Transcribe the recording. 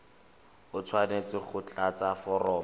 o tshwanetse go tlatsa foromo